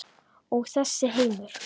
Og þessi heimur?